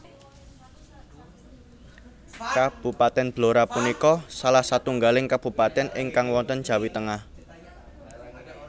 Kabupatèn Blora punika salah satunggaling kabupatèn ingkang wonten Jawi Tengah